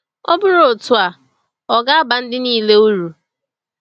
Ọ bụrụ otu a, ò ga-aba ndị niile uru?